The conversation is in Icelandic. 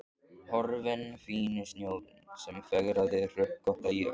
Horfinn fíni snjórinn sem fegraði hrukkótta jörð.